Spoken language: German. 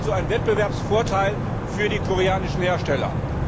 Also ein Wettbewerbsvorteil für die koreanischen Hersteller!